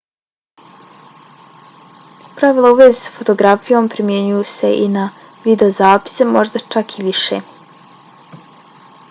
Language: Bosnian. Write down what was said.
pravila u vezi s fotografijom primjenjuju se i na videozapise možda čak i više